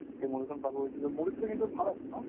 সেই movie খন চাব গৈছিলো, movies টো কিন্তু ভাল আছিল ন?